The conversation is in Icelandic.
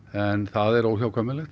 en það eru óhjákvæmilegar